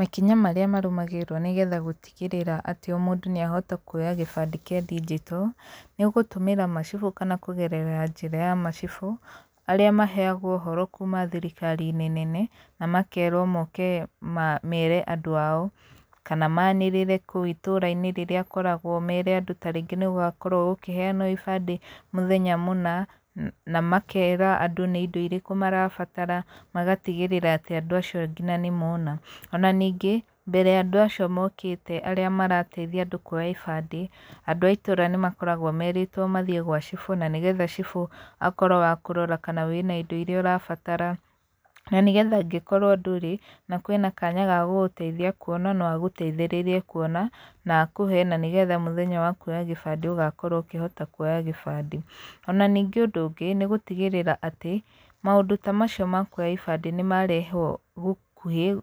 Makinya marĩa marũmagĩrĩrio nĩgetha gũtigĩrĩra atĩ o mũndũ nĩahota kuoya gĩbandĩ kĩa ndigito, nĩgũtũmĩra macibũ, kana kũgerera njĩra ya macibũ, arĩa maheagwo ũhoro kuma thirikarinĩ nene, namakerwo moke mere andũ ao, kana manĩrĩre kũu itũrainĩ rĩrĩa akoragwo mere andũ tarĩngĩ nĩgũgakorwo ibandĩ mũthenya mũna, na makera andũ nĩindo irĩkũ marabatara, magatigĩrĩra atĩ andũ acio nginya nĩmona, ona ningĩ, mbere ya andũ acio mokĩte arĩa marateitha andũ kuoya ibandĩ, andũ a itũra nĩmakoragwo merĩtwo mathiĩ gwa cibũ na nĩgetha cibũ akorwo wa kũrora kana wĩna indo iria ũrabatara, na nĩgetha angĩkorwo ndũrĩ, na kwĩna kanya ga gũgũteithia kuona no agũteithĩrĩrie kuona na akũhe, na nĩgetha mũthenya wa kuoya gĩbandĩ ũgakorwo ũkĩhota kuoya gĩbadĩ. Ona nĩngĩ ũndũ ũngĩ, nĩgũtigĩrĩra atĩ, maũndũ ta macio ma kuoya ibandĩ nĩmarehwo gũkuhĩ,